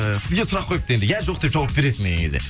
ы сізге сұрақ қойыпты енді иә жоқ деп жауап беретін